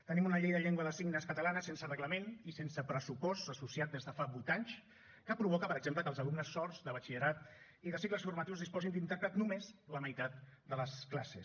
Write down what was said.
tenim una llei de llengua de signes catalana sense reglament i sense pressupost associat des de fa vuit anys que provoca per exemple que els alumnes sords de batxillerat i de cicles formatius disposin d’intèrpret només la meitat de les classes